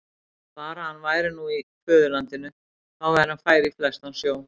Bara að hann væri nú í föðurlandinu, þá væri hann fær í flestan sjó.